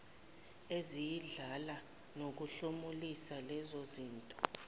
eziyindlala nokuhlomulisa lezozinto